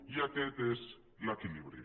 i aquest és l’equilibri